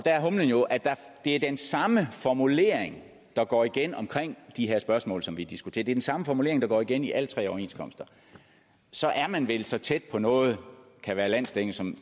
er humlen jo at det er den samme formulering der går igen omkring de her spørgsmål som vi diskuterer det er den samme formulering der går igen i alle tre overenskomster så er man vel så tæt på at noget kan være landsdækkende som